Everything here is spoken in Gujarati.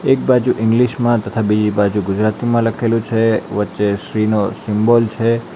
એક બાજુ ઈંગ્લીશ માં તથા બીજી બાજુ ગુજરાતીમાં લખેલું છે વચ્ચે શ્રી નો સિમ્બોલ છે.